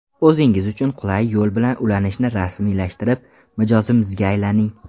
O‘zingiz uchun qulay yo‘l bilan ulanishni rasmiylashtirib, mijozimizga aylaning.